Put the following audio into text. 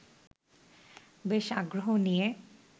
বেশ আগ্রহ নিয়ে